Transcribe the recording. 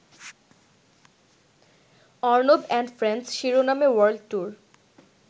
Arnab and friends’ শিরোনামে world tour